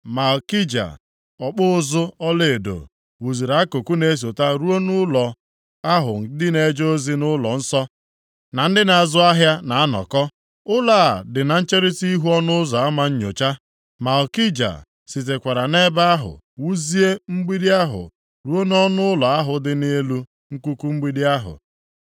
Malkija ọkpụ ụzụ ọlaedo wuziri akụkụ na-esota ruo nʼụlọ ahụ ndị na-eje ozi nʼụlọnsọ, na ndị na-azụ ahịa na-anọkọ. Ụlọ a dị na ncherita ihu Ọnụ Ụzọ Ama Nnyocha. Malkija sitekwara nʼebe ahụ wuzie mgbidi ahụ ruo nʼọnụụlọ ahụ dị nʼelu nkuku mgbidi ahụ.